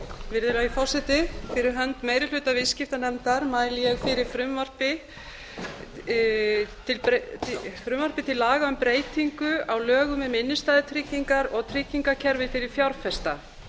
virðulegi forseti fyrir hönd meiri hluta viðskiptanefndar mæli ég fyrir frumvarpi til laga um breytingu á lögum um innstæðutryggingar og tryggingakerfi fyrir fjárfesta